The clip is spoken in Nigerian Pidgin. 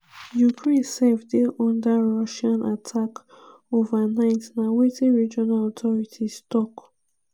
ukraine sef dey under russian attack overnight na wetin regional authorities tok.